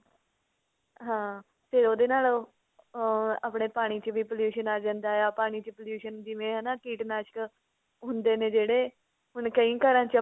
ਹਾਂ ਤੇ ਉਹਦੇ ਨਾਲ ah ਆਪਣੇ ਪਾਣੀ ਚ ਵੀ pollution ਆ ਜਾਂਦਾ ਪਾਣੀ ਚ pollution ਜਿਵੇਂ ਹਣਾ ਕੀਟ ਨਾਸ਼ਕ ਹੁੰਦੇ ਨੇ ਜਿਹੜੇ ਹੁਣ ਕਈ ਘਰਾਂ ਚ ਆਪਾ